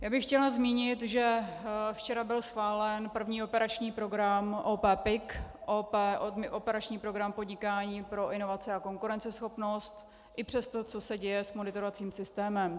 Já bych chtěla zmínit, že včera byl schválen první operační program OP PIK, operační program Podnikání pro inovace a konkurenceschopnost, i přes to, co se děje s monitorovacím systémem.